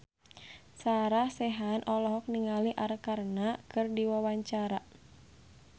Sarah Sechan olohok ningali Arkarna keur diwawancara